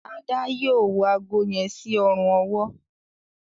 Ada yóò wọ àgó yen sí Ọrùn ọwọ́.